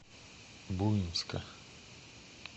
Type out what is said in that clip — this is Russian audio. буинска